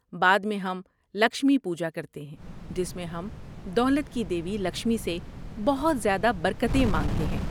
بعد میں، ہم 'لکشمی پوجا' کرتے ہیں جس میں ہم دولت کی دیوی لکشمی سے بہت زیادہ برکتیں مانگتے ہیں۔